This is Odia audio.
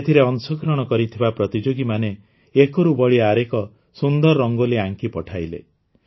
ଏଥିରେ ଅଂଶଗ୍ରହଣ କରିଥିବା ପ୍ରତିଯୋଗୀମାନେ ଏକରୁ ବଳି ଆରେକ ସୁନ୍ଦର ରଙ୍ଗୋଲି ଆଙ୍କି ପଠାଇଲେ